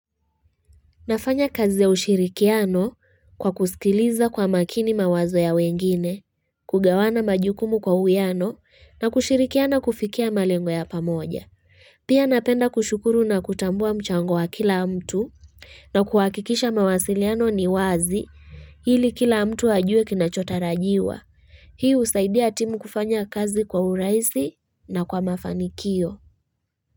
Nafanya kazi ya ushirikiano kwa kusikiliza kwa makini mawazo ya wengine, kugawana majukumu kwa uwiano na kushirikiana kufikia malengo ya pamoja. Pia napenda kushukuru na kutambua mchango wa kila mtu na kuhakikisha mawasiliano ni wazi ili kila mtu ajue kinachotarajiwa. Hii husaidia timu kufanya kazi kwa urahisi na kwa mafanikio.